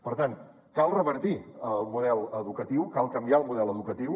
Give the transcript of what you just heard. per tant cal revertir el model educatiu cal canviar el model educatiu